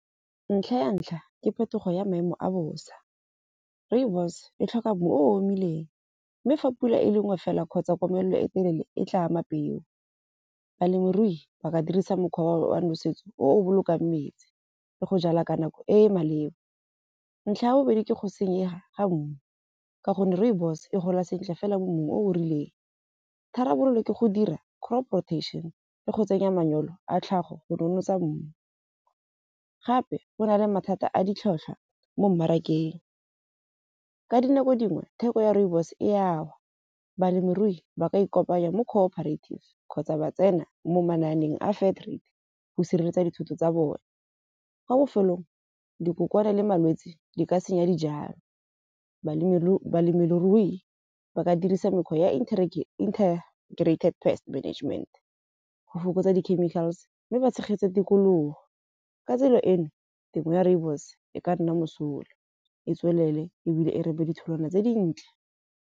Ntlha ya ntlha, ke phetogo ya maemo a bosa. Rooibos e tlhoka mmu o omileng mme fa pula e le nngwe fela kgotsa komelelo e telele e tla ama peo. Balemirui ba ka dirisa mokgwa wa nosetso o bolokang metsi le go jala ka nako e e maleba. Ntlha ya bobedi, ke go senyega ga mmu. Ka gonne rooibos e gola sentle fela mo mmung o o rileng. Tharabololo ke go dira crop protection le go tsenya manyoro a tlhago go nonotsa mmu. Gape go na le mathata a ditlhotlhwa mo mmarakeng. Ka dinako dingwe theko ya rooibos e a wa. Balemirui ba ka ikopanya le cooperative kgotsa ba tsena mo mananeong a factory go sireletsa dithoto tsa bone. Kwa bofelong dikokwana le malwetsi di ka senya dijalo, balemirui ba ka dirisa mekgwa ya pest management, go fokotsa di-chemical-s. Mme ba tshegetse tikologo ka tsela eno temo ya rooibos e ka nna mosola, e tswelele ebile e ditholwana tse dintle.